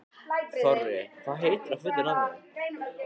Þorri, hvað heitir þú fullu nafni?